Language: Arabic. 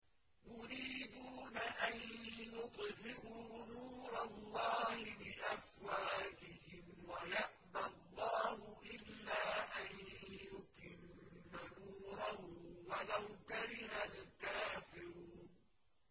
يُرِيدُونَ أَن يُطْفِئُوا نُورَ اللَّهِ بِأَفْوَاهِهِمْ وَيَأْبَى اللَّهُ إِلَّا أَن يُتِمَّ نُورَهُ وَلَوْ كَرِهَ الْكَافِرُونَ